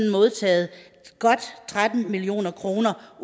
modtaget godt tretten million kroner